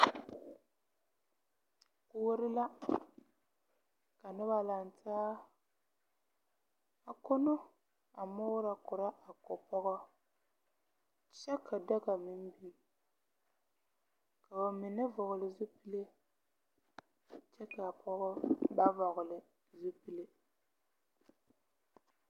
Kuori la ka noba lanaa a konno a moorɔ korɔ o pɔga. kyɛ ka daga meŋ biŋ ka ba mine vɔgele zupili kyɛ kaa pɔgɔ ba vɔgele zupili.